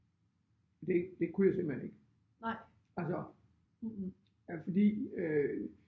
Det det kunne jeg simpelthen ikke altså øh fordi øh